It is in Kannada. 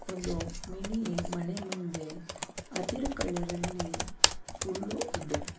ಒಂದು ಮಿನಿ ಮನೆ ಮುಂದೆ ಹಸಿರು ಕಲರ್ ಅಲ್ಲಿ ಹುಲ್ಲು ಇದೆ.